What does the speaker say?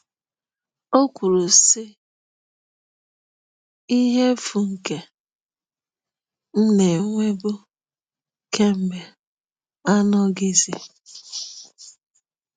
O kwuru, sị: “Ihe efu nke m na-enwebu kemgbe anọghịzi.